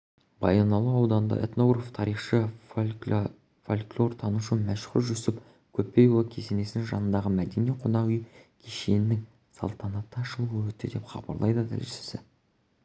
баянауыл ауданында этнограф тарихшы фольклортанушы мәшһүр жүсіп көпейұлы кесенесінің жанындағы мәдени-қонақ үй кешенінің салтанатты ашылуы өтті деп хабарлайды тілшісі